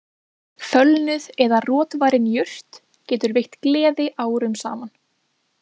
Fölnuð eða rotvarin jurt getur veitt gleði árum saman